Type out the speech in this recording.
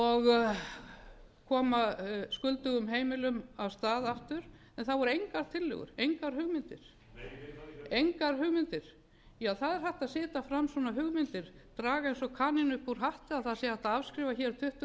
og koma skuldugum heimilum af stað aftur en það voru engar tillögur engar hugmyndir já það er hægt að setja fram svona hugmyndir draga eins og kanínu upp úr hatti að það hægt að afskrifa hér